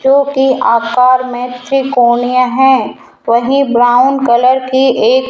जोकि आकार में त्रिकोणीय है वही ब्राउन कलर की एक--